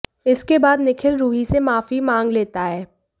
इसके बाद निखिल रूही से माफी मांग लेता है